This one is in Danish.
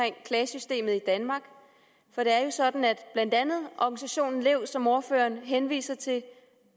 klagesystemet i danmark for det er jo sådan at blandt andet organisationen lev som ordføreren henviser til